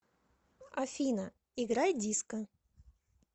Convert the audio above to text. афина играй диско